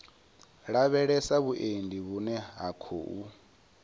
lavhelesa vhuendi vhune ha khou